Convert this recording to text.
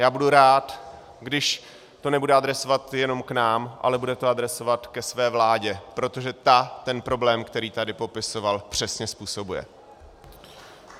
Já budu rád, když to nebude adresovat jenom k nám, ale bude to adresovat ke své vládě, protože ta ten problém, který tady popisoval, přesně způsobuje.